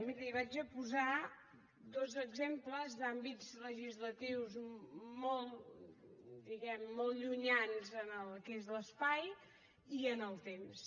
miri li vaig a posar dos exemples d’àmbits legislatius molt diguem ne molt llunyans en el que és l’espai i en el temps